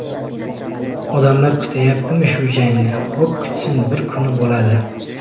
Odamlar kutyaptimi shu jangni, xo‘p kutsin, bir kuni bo‘ladi.